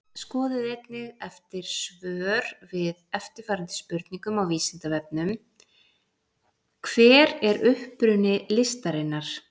Skoðið einnig eftir svör við eftirfarandi spurningum á Vísindavefnum Hver er uppruni listarinnar?